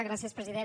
gràcies president